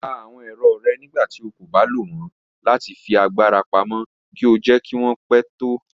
Pà àwọn èrọ́ rẹ̀ nígbàtí ó kò bá lọ wọn láti fi agbara pámọ̀ kí ó jẹ̀ kí wọn pẹ̀ tó.